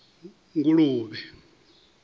nguluvhe